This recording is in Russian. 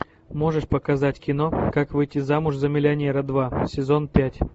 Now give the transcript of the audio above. можешь показать кино как выйти замуж за миллионера два сезон пять